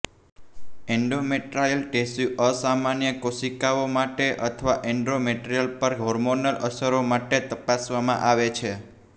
endometrial tissue અસામાન્ય કોશિકાઓ માટે અથવા એન્ડોમેટ્રીયમ પર હોર્મોનલ અસરો માટે તપાસવામાં આવે છે